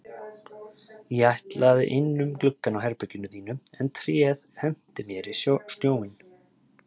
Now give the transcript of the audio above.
Ég ætlaði inn um gluggann á herberginu þínu en tréð henti mér í snjóinn